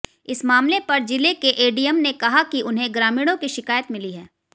इस मामले पर जिले के एडीएम ने कहा की उन्हें ग्रामीणों की शिकायत मिली है